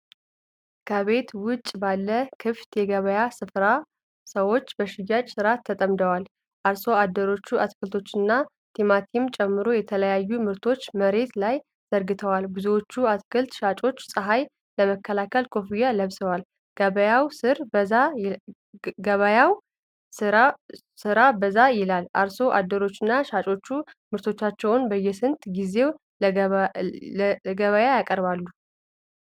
ከቤት ውጭ ባለ ክፍት የገበያ ስፍራ ሰዎች በሽያጭ ሥራ ተጠምደዋል። አርሶ አደሮች አትክልቶችንና ቲማቲምን ጨምሮ የተለያዩ ምርቶችን መሬት ላይ ዘርግተዋል። ብዙዎቹ አትክልት ሻጮች ፀሐይ ለመከላከል ኮፍያዎችን ለብሰዋል። ገበያው ስራ በዛ ይላል። አርሶ አደሮችና ሻጮች ምርቶቻቸውን በየስንት ጊዜው ለገበያያቀርባሉ?